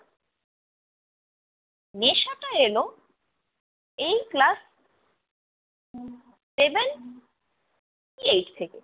নেশাটা এলো এই class seven eight থেকে